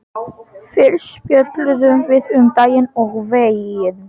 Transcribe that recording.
Fyrst spjölluðum við um daginn og veginn.